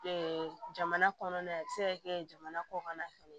jamana kɔnɔ a bɛ se ka kɛ jamana kɔkanna fɛnɛ